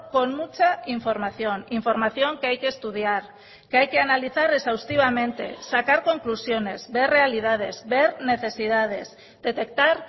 con mucha información información que hay que estudiar que hay que analizar exhaustivamente sacar conclusiones ver realidades ver necesidades detectar